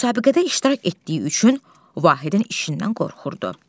Müsabiqədə iştirak etdiyi üçün Vahidin işindən qorxurdu.